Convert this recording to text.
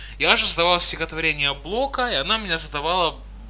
я же сдавал стихотворение блока и она мне задавала